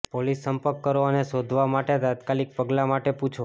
police સંપર્ક કરો અને શોધવા માટે તાત્કાલિક પગલાં માટે પૂછો